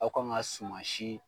Aw kan ka sumansi